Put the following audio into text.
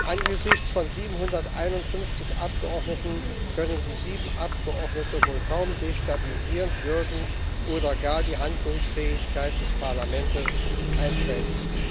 Angesichts von 751 Abgeordneten können die sieben Abgeordneten wohl kaum destabilisierend wirken oder gar die Handlungsfähigkeit des Parlaments einschränken.